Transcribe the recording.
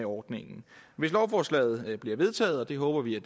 ordningen hvis lovforslaget bliver vedtaget det håber vi